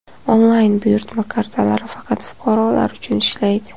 Onlayn buyurtma kartalari faqat fuqarolar uchun ishlaydi.